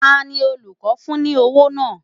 Ta ni olùkọ́ fún ní owó náà?